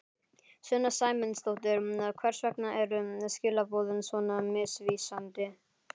Sunna Sæmundsdóttir: Hvers vegna eru skilaboðin svona misvísandi?